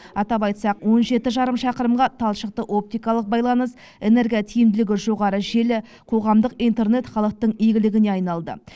атап айтсақ он жеті жарым шақырымға талшықты оптикалық байланыс энерготиімділігі жоғары желі қоғамдық интернет халықтың игілігіне айналды